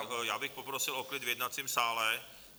Tak já bych poprosil o klid v jednacím sále.